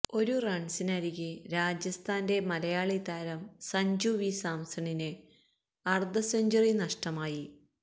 ഒരു റണ്സരികെ രാജസ്ഥാന്റെ മലയാളി താരം സഞ്ജു വി സാംസണിന് അര്ധസെഞ്ച്വറി നഷ്ടമായി